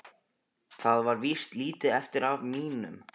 Það er víst lítið eftir af mínum!